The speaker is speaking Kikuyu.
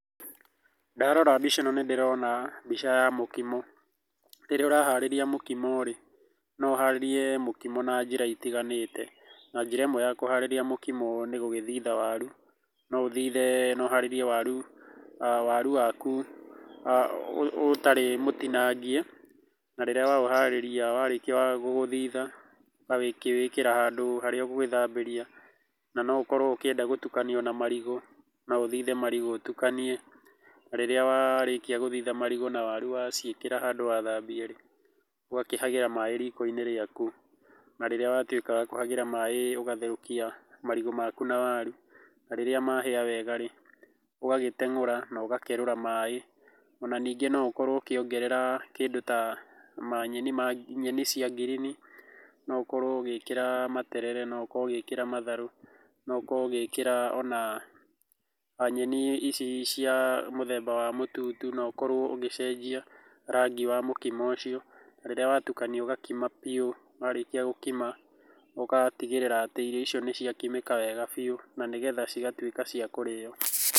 Ndarora mbica ĩno nĩ ndĩrona mbica ya mũkimo. Rĩrĩa ũraharĩrĩa mũkimo rĩ, no ũharĩrie na njĩra itiganĩte. Na njĩra ĩmwe ya kũharĩria mũkimo nĩ gũgĩthitha waru, no ũthithe no ũharĩrie waru waku ũtarĩ mũtinangie, na rĩrĩa waũharĩria warĩkia gũthitha, ũgakĩwĩkĩra handũ harĩa ũgũgĩthambĩria. Na no ũkorũo ũkĩenda gũtukanio na marigũ, no ũthithe marigũ ũtukanie, na rĩrĩa warĩkia gũthitha marigũ na waru waciĩkĩra handũ wathambia rĩ, ũgakĩhagĩra maĩ riko-inĩ rĩaku. Na rĩrĩa watuĩka wa kũhagĩra maĩ ũgatherũkia marigũ maku na waru na rĩrĩa mahĩa wega rĩ, ũgagĩtengũra na ũgakerũra maĩ. Ona ningĩ no ũkorũo ũkĩongerera kĩndũ ta manyeni ma nyeni cia green no ũkorũo ũgĩĩkĩra materere, no ũkorũo ũgĩĩkĩra matharũ, no ũkorũo ũgĩĩkĩra ona nyeni ici cia mũthemba wa mũtutu na ũkorũo ũgĩcenjia rangi wa mũkimo ũcio. Rĩrĩa watukania ũgakima bĩu, warĩkia gũkima ũgatigĩrĩra atĩ irio icio nĩ ciakimĩka wega biũ na nĩgetha cĩgatuĩka cia kũrĩo